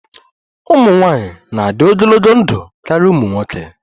Ụmụ nwanyị na-adị ogologo ndụ karịa ụmụ nwoke